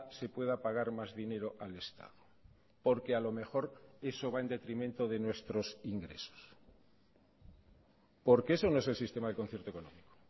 se pueda pagar más dinero al estado porque a lo mejor eso va en detrimento de nuestros ingresos porque eso no es el sistema de concierto económico